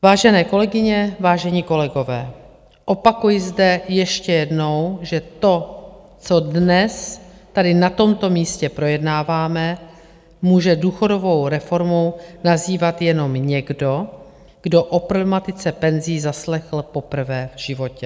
Vážené kolegyně, vážení kolegové, opakuji zde ještě jednou, že to, co dnes tady na tomto místě projednáváme, může důchodovou reformou nazývat jenom někdo, kdo o problematice penzí zaslechl poprvé v životě.